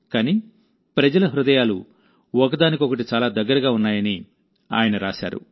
కానీ ప్రజల హృదయాలు ఒకదానికొకటి చాలా దగ్గరగా ఉన్నాయని ఆయన రాశారు